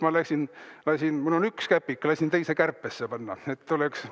Mul on üks käpik, ma lasin teise kärpesse panna, et oleks …